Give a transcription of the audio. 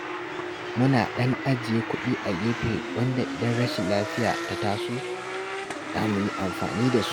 Muna ɗan ajiye kuɗi a gefe wanda idan rashin lafiya ta taso, za mu yi amfani da su